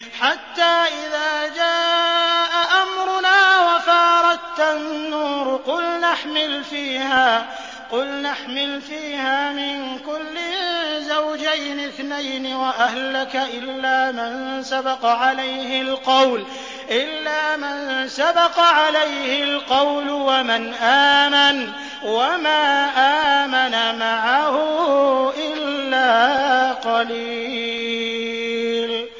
حَتَّىٰ إِذَا جَاءَ أَمْرُنَا وَفَارَ التَّنُّورُ قُلْنَا احْمِلْ فِيهَا مِن كُلٍّ زَوْجَيْنِ اثْنَيْنِ وَأَهْلَكَ إِلَّا مَن سَبَقَ عَلَيْهِ الْقَوْلُ وَمَنْ آمَنَ ۚ وَمَا آمَنَ مَعَهُ إِلَّا قَلِيلٌ